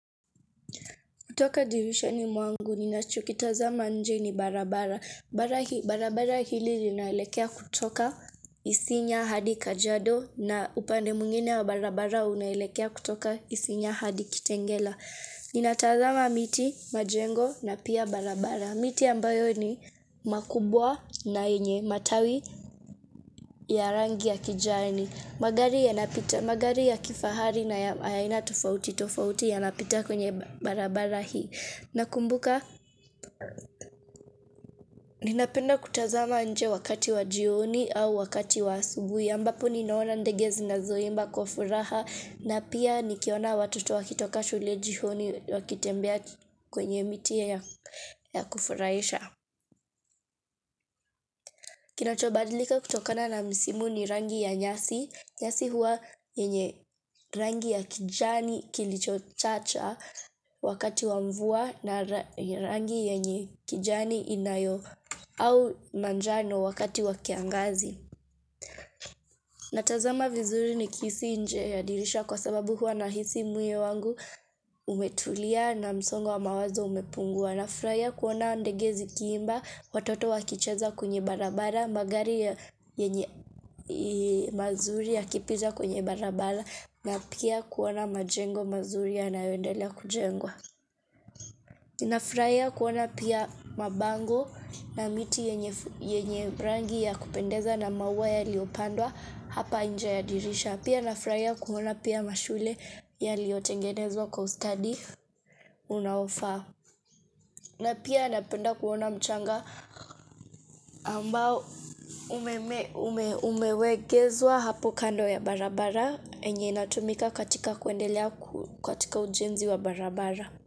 Kutoka dirishani mwangu ninachokitazama nje ni barabara. Barabara hili linaelekea kutoka isinya hadi kajiado na upande mwingine wa barabara unaelekea kutoka isinya hadi kitengela. Ninatazama miti, majengo na pia barabara. Miti ambayo ni makubwa na yenye matawi ya rangi ya kijani. Magari ya kifahari na ya aina tofauti tofauti yanapita kwenye barabara hii. Nakumbuka, ninapenda kutazama nje wakati wa jioni au wakati wa asubuhi ambapo ninaona ndege zinazoimba kwa furaha na pia nikiona watoto wakitoka shule jioni wakitembea kwenye miti ya kufurahisha. Kinachobadilika kutokana na misimu ni rangi ya nyasi. Nyasi huwa yenye rangi ya kijani kilicho chacha wakati wamvua na rangi yenye kijani inayo au manjano wakati wakiangazi. Natazama vizuri nikisi nje ya dirisha kwa sababu huwa nahisi moyo wangu umetulia na msongo wa mawazo umepungua. Na furahia kuona ndege zikiimba, watoto wakicheza kwenye barabara, magari yenye ya mazuri ya kipita kwenye barabara na pia kuona majengo mazuri yanayoendelea kujengwa. Nafurahia kuona pia mabango na miti yenye rangi ya kupendeza na maua yaliyopandwa hapa inje ya dirisha. Pia nafurahia kuona pia mashule yaliyotengenezwa kwa ustadi unaofaa. Na pia napenda kuona mchanga ambao umewegezwa hapo kando ya barabara enye inatumika katika kuendelea katika ujenzi wa barabara.